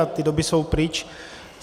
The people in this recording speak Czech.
A ty doby jsou pryč.